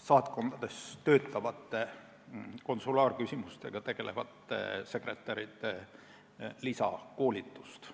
saatkondades töötavate konsulaarküsimustega tegelevate sekretäride lisakoolitust.